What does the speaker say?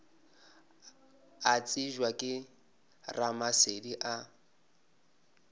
a tsebja ke ramasedi a